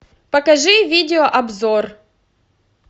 покажи видеообзор